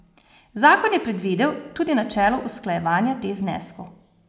Zakon je predvidel tudi načelo usklajevanja teh zneskov.